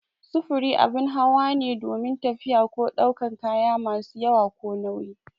Sufuri abin hawa ne domin tafiya ko daukan kaya masu yawa ko nauyi